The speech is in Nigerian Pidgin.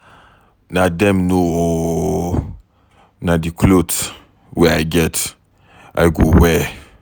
Na dem know oo, na the cloth wey I get I go wear.